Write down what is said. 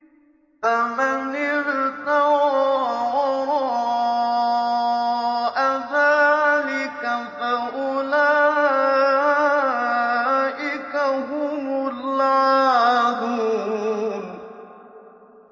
فَمَنِ ابْتَغَىٰ وَرَاءَ ذَٰلِكَ فَأُولَٰئِكَ هُمُ الْعَادُونَ